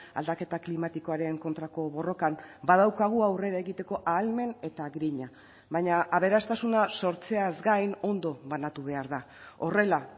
aldaketa klimatikoaren kontrako borrokan badaukagu aurrera egiteko ahalmen eta grina baina aberastasuna sortzeaz gain ondo banatu behar da horrela